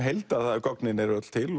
heild að gögnin eru öll til